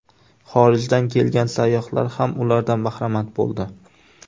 Xorijdan kelgan sayyohlar ham ulardan bahramand bo‘ldi.